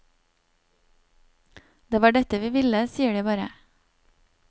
Det var dette vi ville, sier de bare.